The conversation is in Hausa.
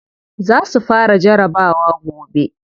Za su fara jarabawa gobe.